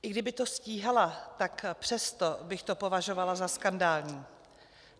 I kdyby to stíhala, tak přesto bych to považovala za skandální.